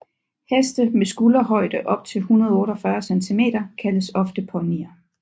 Heste med skulderhøjde op til 148 cm kaldes ofte ponyer